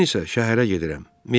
Mən isə şəhərə gedirəm.